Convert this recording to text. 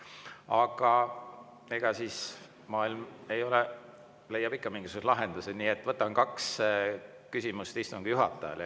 Aga eks leiab ikka mingisuguse lahenduse, nii et võtan kaks küsimust istungi juhatajale.